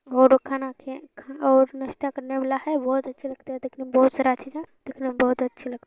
वो लोग खाना खे खा और नाश्ता करने वाला है बहोत अच्छा लगता है दिखने में बहोत है दिखने में बहोत अच्छी लग --